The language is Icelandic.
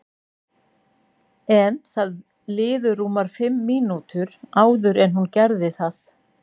En það liðu rúmar fimm mínútur áður en hún gerði það.